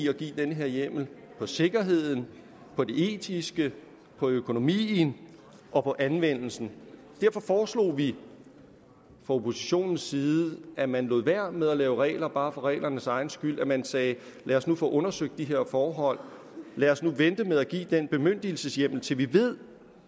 at give den her hjemmel på sikkerheden på det etiske på økonomien og på anvendelsen derfor foreslog vi fra oppositionens side at man lod være med at lave regler bare for reglernes egen skyld men at man sagde lad os nu få undersøgt de her forhold lad os nu vente med at give den bemyndigelseshjemmel til vi ved